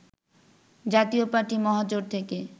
জাতীয় পার্টি মহাজোট থেকে